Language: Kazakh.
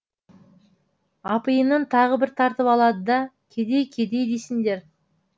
апиынын тағы бір тартып алады да кедей кедей дейсіңдер